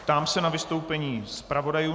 Ptám se na vystoupení zpravodajů.